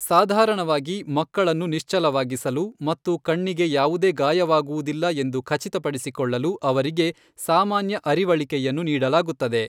ಸಾಧಾರಣವಾಗಿ, ಮಕ್ಕಳನ್ನು ನಿಶ್ಚಲವಾಗಿಸಲು ಮತ್ತು ಕಣ್ಣಿಗೆ ಯಾವುದೇ ಗಾಯವಾಗುವುದಿಲ್ಲ ಎಂದು ಖಚಿತಪಡಿಸಿಕೊಳ್ಳಲು ಅವರಿಗೆ ಸಾಮಾನ್ಯ ಅರಿವಳಿಕೆಯನ್ನು ನೀಡಲಾಗುತ್ತದೆ.